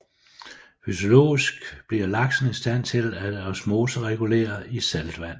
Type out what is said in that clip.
Fysiologisk bliver laksen i stand til at osmoregulere i saltvand